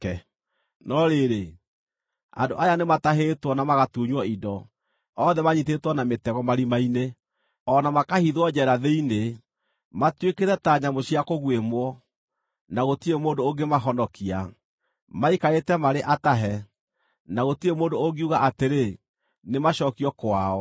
No rĩrĩ, andũ aya nĩmatahĩtwo na magatunywo indo, othe manyiitĩtwo na mĩtego marima-inĩ, o na makahithwo njeera thĩinĩ. Matuĩkĩte ta nyamũ cia kũguĩmwo, na gũtirĩ mũndũ ũngĩmahonokia; maikarĩte marĩ atahe, na gũtirĩ mũndũ ũngiuga atĩrĩ, “Nĩmacookio kwao.”